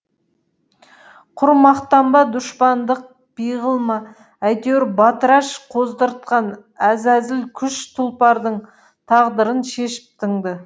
құр мақтан ба дұшпандық пиғыл ма әйтеуір батыраш қоздыртқан әзәзіл күш тұлпардың тағдырын шешіп тынды